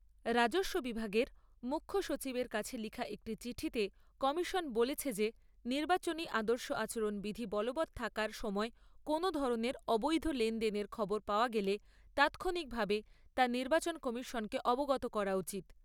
রাজস্ব বিভাগের মুখ্য সচিবের কাছে লেখা একটি চিঠিতে কমিশন বলেছে যে নির্বাচনী আদর্শ আচরণবিধি বলবৎ থাকার সময় কোনও ধরণের অবৈধ লেনদেনের খবর পাওয়া গেলে তাৎক্ষণিকভাবে তা নির্বাচন কমিশনকে অবগত করা উচিত।